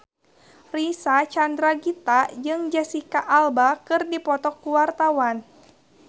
Reysa Chandragitta jeung Jesicca Alba keur dipoto ku wartawan